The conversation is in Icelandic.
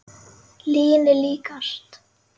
Lyginni líkast.